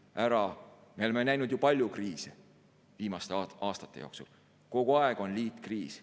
Me oleme viimaste aastate jooksul näinud palju kriise, kogu aeg on liitkriis.